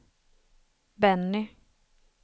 Benny